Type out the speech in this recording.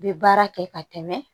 Bɛ baara kɛ ka tɛmɛ